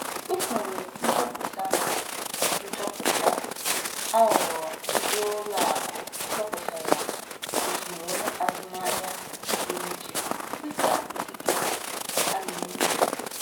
Usoro nchọpụta nchọpụta aghụghọ ndị ụlọ akụ chọpụtara usoro azụmaahịa pụrụ iche dịka ikike a na-enyo enyo.